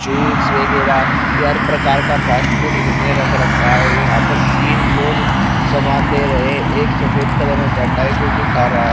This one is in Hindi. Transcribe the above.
जूस वगैरा ये हर प्रकार का फास्टफूड इन्होंने रख रखा है यहां पर तीन लोग समान दे रहे एक सफेद कलर बैठा है जो की खा रहा--